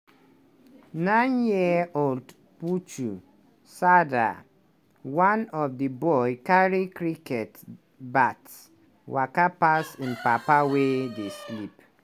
nine-year-old puchu sardar one of di boys carry cricket bat waka pass im papa wey dey sleep.